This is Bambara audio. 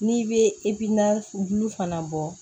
N'i bɛ fana bɔ